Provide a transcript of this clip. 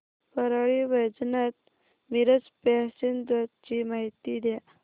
Parli Vaijnath Miraj passenger ची माहिती द्या